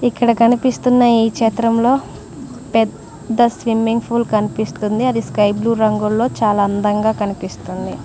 ఇక్కడ కనిపిస్తున్న ఈ చిత్రంలో పెద్ద స్విమ్మింగ్ పూల్ కనిపిస్తుంది అది స్కై బ్లూ రంగుల్లో చాలా అందంగా కనిపిస్తుంది.